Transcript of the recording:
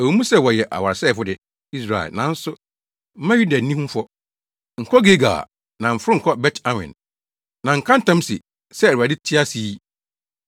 “Ɛwɔ mu sɛ woyɛ ɔwaresɛefo de, Israel, nanso, mma Yuda nni ho fɔ. “Nkɔ Gilgal; na mforo nkɔ Bet-Awen. Na nka ntam se, ‘Sɛ Awurade te ase yi!’